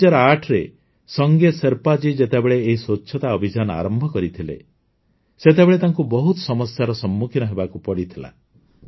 ୨୦୦୮ରେ ସଙ୍ଗେ ଶେର୍ପା ଜୀ ଯେତେବେଳେ ଏହି ସ୍ୱଚ୍ଛତା ଅଭିଯାନ ଆରମ୍ଭ କରିଥିଲେ ସେତେବେଳେ ତାଙ୍କୁ ବହୁତ ସମସ୍ୟାର ସମ୍ମୁଖୀନ ହେବାକୁ ପଡ଼ିଥିଲା